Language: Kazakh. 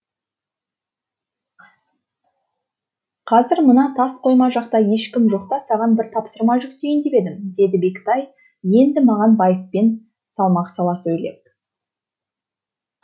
қазір мына тас қойма жақта ешкім жоқта саған бір тапсырма жүктейін деп едім деді бектай енді маған байыппен салмақ сала сөйлеп